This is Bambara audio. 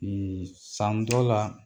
Ee san dɔ la